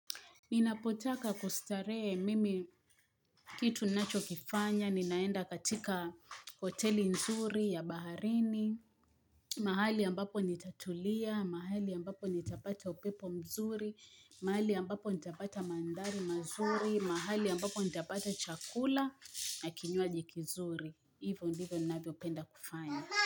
Ninapotaka kustarehe mimi kitu ninachokifanya, ninaenda katika hoteli nzuri ya baharini, mahali ambapo nitatulia, mahali ambapo nitapata upepo mzuri, mahali ambapo nitapata mandhari mazuri, mahali ambapo nitapata chakula na kinywaji kizuri, hivyo ndivyo ninavyopenda kufanya.